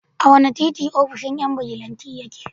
A wane titi ofishin yan bijilanti yake?